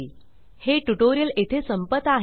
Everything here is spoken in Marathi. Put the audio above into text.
हे ट्यूटोरियल येथे संपत आहे